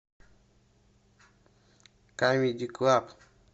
камеди клаб